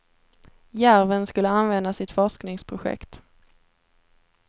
Järven skulle användas i ett forskningsprojekt.